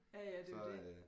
Ja ja det er jo det